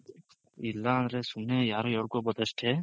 ಇಲ್ಲ ಅಂದ್ರೆ ಸುಮ್ನೆ ಯಾರ್ ಹೇಳ್ಕೊಬೋದ್ ಅಷ್ಟೇ